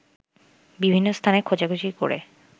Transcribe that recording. বিভিন্ন স্থানে খোঁজাখুঁজি করে